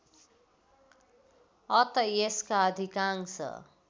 अत यसका अधिकांश